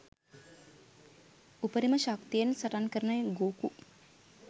උපරිම ශක්තියෙන් සටන්කරන ගෝකු